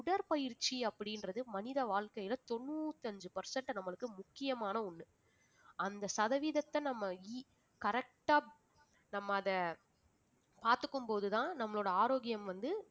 உடற்பயிற்சி அப்படின்றது மனித வாழ்க்கையில தொண்ணூத்தி அஞ்சு percent நம்மளுக்கு முக்கியமான ஒண்ணு அந்த சதவீதத்தை நம்ம ea~ correct ஆ நம்ம அதை பார்த்துக்கும் போதுதான் நம்மளோட ஆரோக்கியம் வந்து